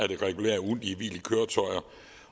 det regulære ugentlige hvil i køretøjer